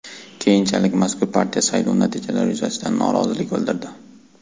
Keyinchalik mazkur partiya saylov natijalari yuzasidan norozilik bildirdi.